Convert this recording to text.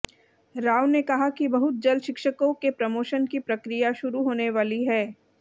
राव ने कहा कि बहुत जल्द शिक्षकों के प्रोमोशन की प्रक्रिया शुरू होने वाली है